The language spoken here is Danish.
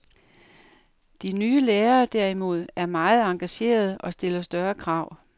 De nye lærere derimod, er meget engagerede og stiller større krav.